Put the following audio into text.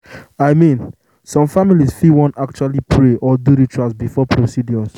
i mean some families fit wan actually pray or do rituals before procedures.